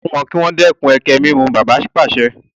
O gbúdọ̀ sọ fún wọn kí wọ́n dẹ́kun ẹkẹ-mímù! Bàbá pàṣẹ.